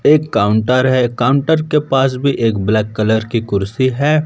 एक काउंटर है काउंटर के पास भी एक ब्लैक कलर की कुर्सी है।